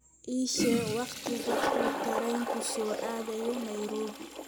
ii sheeg wakhtiga uu tareenku soo aadayo nairobi